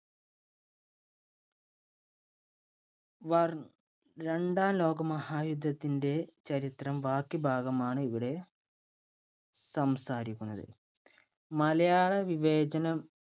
രണ്ടാം ലോക മഹായുദ്ധത്തിന്‍റെ ചരിത്രം ബാക്കി ഭാഗമാണിവിടെ സംസാരിക്കുന്നത്. മലയാള വിവേചനം